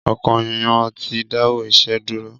Ọkọ yan ti dawọ iṣẹ duro.